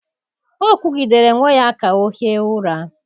Ọ kụgidere nwa ya ka ọ hie ụra.